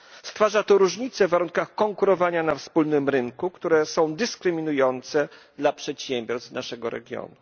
Stwarza to różnice w warunkach konkurowania na wspólnym rynku, które są dyskryminujące dla przedsiębiorstw z naszego regionu.